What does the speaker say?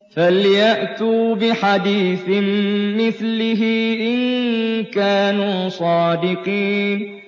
فَلْيَأْتُوا بِحَدِيثٍ مِّثْلِهِ إِن كَانُوا صَادِقِينَ